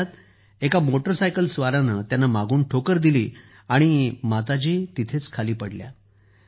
त्यावेळी मोटरसायकल स्वारानं त्यांना मागून ठोकर दिली आणि माताजी तेथेच पडल्या